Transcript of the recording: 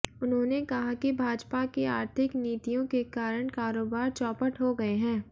उन्होंने कहा कि भाजपा की आर्थिक नीतियों के कारण कारोबार चौपट हो गये हैं